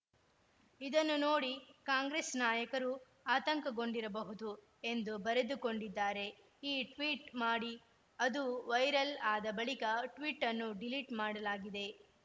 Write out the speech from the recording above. ಇದನ್ನು ನೋಡಿ ಕಾಂಗ್ರೆಸ್‌ ನಾಯಕರು ಆತಂಕಗೊಂಡಿರಬಹುದು ಎಂದು ಬರೆದುಕೊಂಡಿದ್ದಾರೆ ಈ ಟ್ವೀಟ್‌ ಮಾಡಿ ಅದು ವೈರಲ್‌ ಆದ ಬಳಿಕ ಟ್ವೀಟನ್ನು ಡಿಲೀಟ್‌ ಮಾಡಲಾಗಿದೆ